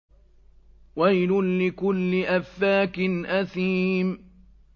وَيْلٌ لِّكُلِّ أَفَّاكٍ أَثِيمٍ